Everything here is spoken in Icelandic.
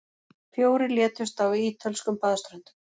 Fjórir létust á ítölskum baðströndum